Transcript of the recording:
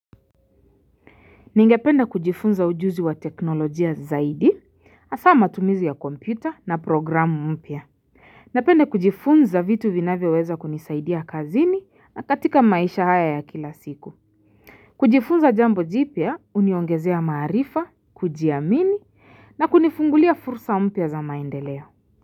Ningepende kujifunza ujuzi wa teknolojia zaidi, hasaa matumizi ya kompyuta na programu mpya. Napenda kujifunza vitu vinavyo weza kunisaidia kazini na katika maisha haya ya kila siku. Kujifunza jambo jipya huniongezea maarifa, kujiamini na kunifungulia fursa mpya za maendeleo.